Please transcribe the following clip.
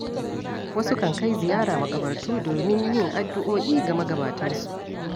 Wasu kan kai ziyara maƙabartu domin yin addu'o'i ga magabatansu.